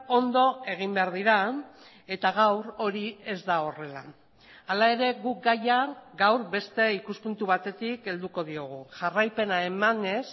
ondo egin behar dira eta gaur hori ez da horrela hala ere guk gaia gaur beste ikuspuntu batetik helduko diogu jarraipena emanez